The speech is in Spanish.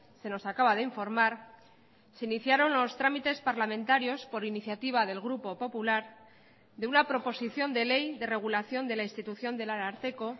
se nos acaba de informar se iniciaron los trámites parlamentarios por iniciativa del grupo popular de una proposición de ley de regulación de la institución del ararteko